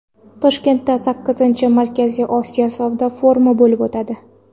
Toshkentda sakkizinchi Markaziy Osiyo savdo forumi bo‘lib o‘tadi.